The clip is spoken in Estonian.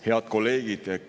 Head kolleegid!